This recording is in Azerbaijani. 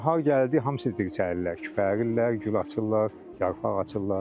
Bahar gəldi hamısı dirçəlirlər, küpərirlər, gül açırlar, yarpaq açırlar.